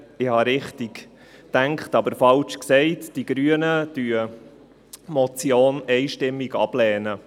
Ich habe richtig gedacht, aber falsch gesprochen, die Grünen lehnen die Motion einstimmig ab.